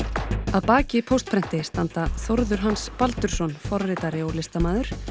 að baki Póstprenti standa Þórður Hans Baldursson forritari og listamaður